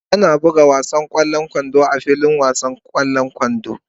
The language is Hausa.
Ana buga wasan ƙwallon kwando a filin wasan ƙwallon kwando.